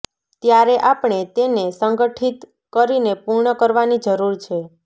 ત્યારે આપણે તેને સંગઠીત કરીને પૂર્ણ કરવાની જરૂર છે